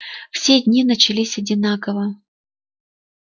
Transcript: все дни начались одинаково